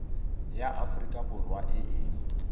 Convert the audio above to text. ya aforika borwa e e